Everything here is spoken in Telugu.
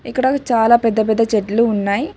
ఇక్కడ చాలా పెద్ద పెద్ద చెట్లు ఉన్నాయ్.